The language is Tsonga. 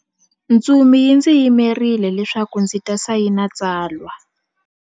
Ntsumi yi ndzi yimerile leswaku ndzi ta sayina tsalwa.